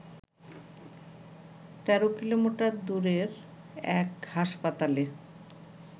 ১৩ kilometre দূরের এক হাসপাতালে